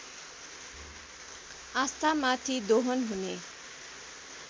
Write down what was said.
आस्थामाथि दोहन हुने